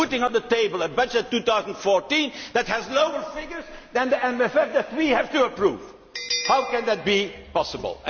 You are putting on the table a budget for 2014 that has lower figures for the MFF which we have to approve. How can that be possible?